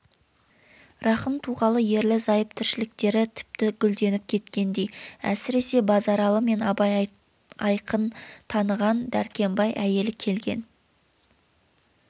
рахым туғалы ерлі-зайып тіршіліктері тіпті гүлденіп кеткендей әсіресе базаралы мен абай айқын таныған дәркембай әйелі келген